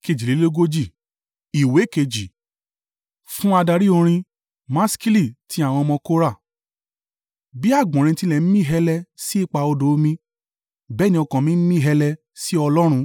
Fún adarí orin. Maskili ti àwọn ọmọ Kora. Bí àgbọ̀nrín ti ń mí hẹlẹ sí ipa odò omi, bẹ́ẹ̀ ni ọkàn mi ń mí hẹlẹ sí ọ Ọlọ́run.